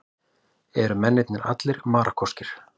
Eru mennirnir allir Marokkóskir